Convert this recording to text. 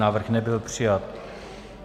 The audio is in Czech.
Návrh nebyl přijat.